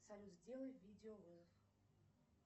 салют сделай видеовызов